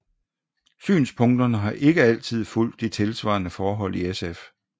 Synspunkterne har ikke altid fulgt de tilsvarende forhold i SF